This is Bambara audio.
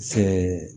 Ɛɛ